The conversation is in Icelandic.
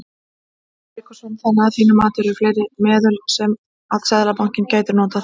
Sölvi Tryggvason: Þannig að þín mati eru fleiri meðöl sem að Seðlabankinn gæti notað?